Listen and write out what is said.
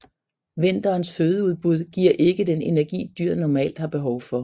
Vinterens fødeudbud giver ikke den energi dyret normalt har behov for